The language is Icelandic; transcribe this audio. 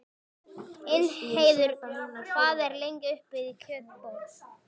Ingheiður, hvað er lengi opið í Kjötborg?